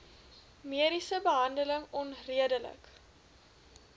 mediese behandeling onredelik